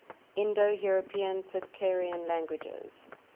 indo european tocharian languages